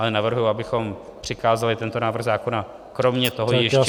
Ale navrhuji, abychom přikázali tento návrh zákona kromě toho ještě -